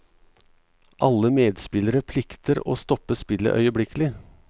Alle medspillere plikter å stoppe spillet øyeblikkelig.